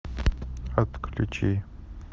отключи